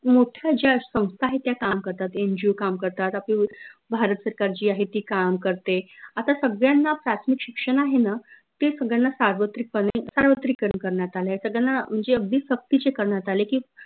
मोठ्या ज्या संस्था आहेत त्या काम करतात NGO काम करतात आपली भारत सरकार जी आहे ती काम करते आता सगळ्यांना प्राथमिक शिक्षन आहे न ते सगळ्यांना सार्वत्रिक पने सार्वत्रिकरन करन्यात आलय सगळ्यांना म्हनजे अगदी सक्त्तीचे करन्यात आले की